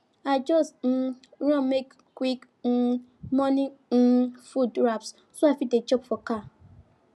i just um run make quick um morning um food wraps so i fit dey chop for car